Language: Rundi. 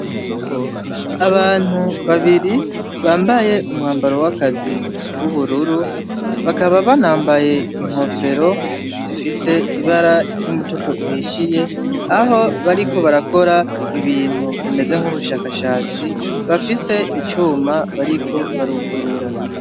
Abantu babiri bambaye umwambaro w'akazi w'ubururu bakaba banambaye inkofero zifise ibara ry'umutoto uhishyiye, aho bariko barakora ibintu bimeze nk'ubushakashatsi bafise icuma bariko barugurura.